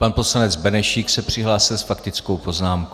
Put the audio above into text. Pan poslanec Benešík se přihlásil s faktickou poznámkou.